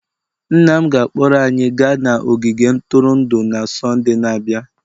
Nna m ga-akpọrọ anyị gaa ogige ntụrụndụ na Sọnde na-abịa.